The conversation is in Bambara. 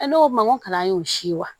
E ko ma n ko kalan y'o si ye wa